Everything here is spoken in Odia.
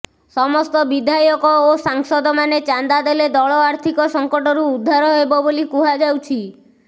ସମସ୍ତ ବିଧାୟକ ଓ ସାଂସଦମାନେ ଚାନ୍ଦା ଦେଲେ ଦଳ ଆର୍ଥିକ ସଙ୍କଟରୁ ଉଦ୍ଧାର ହେବ ବୋଲି କୁହାଯାଉଛି